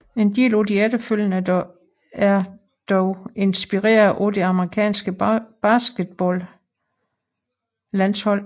En del af de efterfølgende er dog inspireret af det amerikanske basketballlandshold